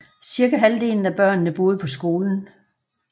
Cirka halvdelen af børnene boede på skolen